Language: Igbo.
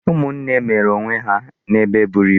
Ụmụnne mere onw e ha n'ebe eburu ibu.